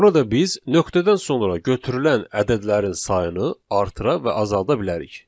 Burada biz nöqtədən sonra götürülən ədədlərin sayını artıra və azalda bilərik.